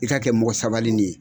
I k'a kɛ mɔgɔ sabalini ye.